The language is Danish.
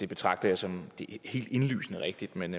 betragter som helt indlysende rigtigt men